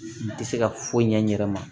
Tɛ se ka foyi ɲɛ n yɛrɛ ma